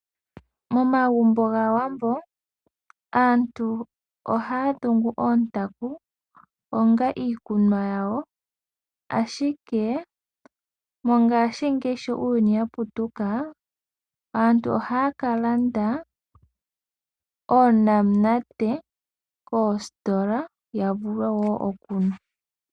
Momagumbo gAawambo aantu ohaya dhungu oontaku onga iikunwa yawo, ashike mongashingeyi sho uuyuni wa putuka, aantu ohaya ka landa oonamunate koositola ya vule wo okunwa.